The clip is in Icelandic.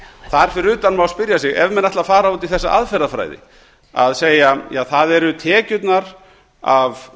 þar fyrir utan má spyrja sig ef menn ætla að fara út í þessa aðferðafræði að segja að það séu tekjurnar af